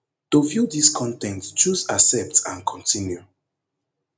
to view dis con ten t choose accept and continue